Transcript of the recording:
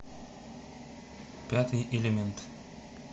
пятый элемент